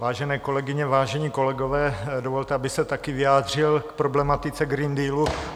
Vážené kolegyně, vážení kolegové, dovolte, abych se taky vyjádřil k problematice Green Dealu.